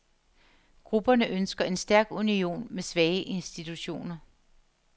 Grupperne ønsker en stærk union med svage institutioner.